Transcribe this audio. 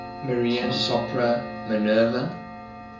maria sopra minerva